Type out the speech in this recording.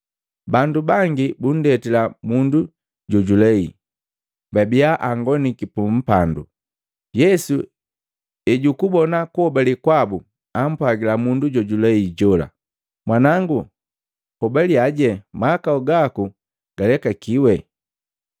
Bandu bangi bundetila mundu jojulei, babia angoniki pu mpandu. Yesu ejukubona kuhobale kwabu, ampwagila mundu jojulei jola, “Mwanango, hobaliyaje, mahakau gaku galekakiwi.”